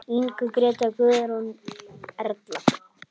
Inga, Gréta, Guðrún, Erla.